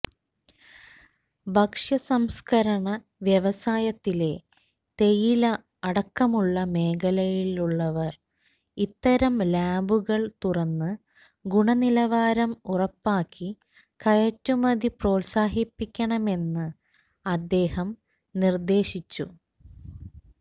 ഭക്ഷ്യസംസ്കരണ വ്യവസായത്തിലെ തേയില അടക്കമുള്ള മേഖലകളിലുള്ളവര് ഇത്തരം ലാബുകള് തുറന്ന് ഗുണനിലവാരം ഉറപ്പാക്കി കയറ്റുമതി പ്രോത്സാഹിപ്പിക്കണമെന്ന് അദ്ദേഹം നിര്ദ്ദേശിച്ചു